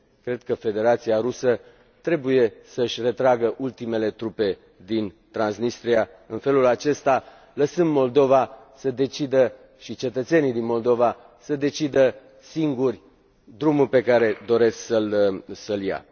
Cred că Federația Rusă trebuie să își retragă ultimele trupe din Transnistria, în felul acesta lăsând Moldova și cetățenii din Moldova să decidă singuri drumul pe care doresc să l ia.